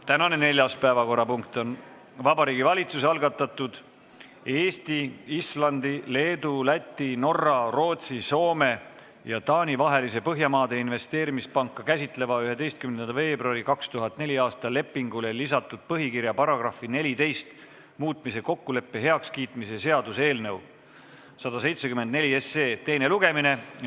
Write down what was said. Tänane neljas päevakorrapunkt on Vabariigi Valitsuse algatatud Eesti, Islandi, Leedu, Läti, Norra, Rootsi, Soome ja Taani vahelisele Põhjamaade Investeerimispanka käsitlevale 11. veebruari 2004. aasta lepingule lisatud põhikirja paragrahvi 14 muutmise kokkuleppe heakskiitmise seaduse eelnõu 174 teine lugemine.